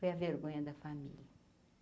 Foi a vergonha da família.